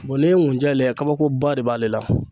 bɔn n'e ye ŋunjɛ layɛ kabako ba de b'ale la